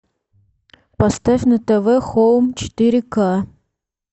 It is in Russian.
поставь на тв хоум четыре ка